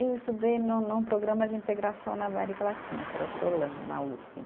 Eu estudei num no programa de integração na América Latina, que era o Prolan, na Uspe.